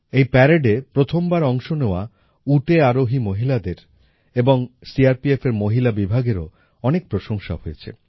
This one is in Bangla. এই প্যারেডে প্রথম বার অংশ নেওয়া উটে আরোহী মহিলাদের এবং সিআরপিএফের মহিলা বিভাগেরও অনেক প্রশংসা হয়েছে